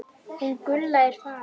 Hún Gulla er farin